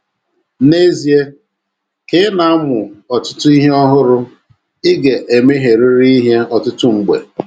N’ezie, ka ị na - amụ otu ihe ọhụrụ, ị ga - emehierịrị ihe ọtụtụ mgbe.